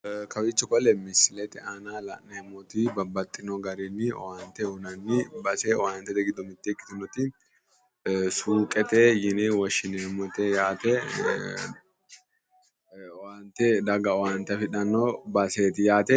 Kawiichi bale misilete aana la'neemmoti babbaxxino garinni owaante uyiinanni base owaantete giddo mitte ikkitinoti sunqete yine woshshineemmote owaante daga owaante afidhanno baseeti yaate.